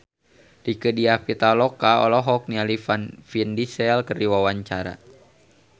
Rieke Diah Pitaloka olohok ningali Vin Diesel keur diwawancara